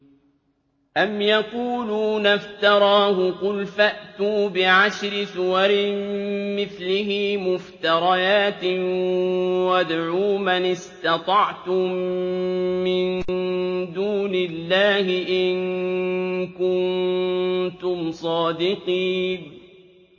أَمْ يَقُولُونَ افْتَرَاهُ ۖ قُلْ فَأْتُوا بِعَشْرِ سُوَرٍ مِّثْلِهِ مُفْتَرَيَاتٍ وَادْعُوا مَنِ اسْتَطَعْتُم مِّن دُونِ اللَّهِ إِن كُنتُمْ صَادِقِينَ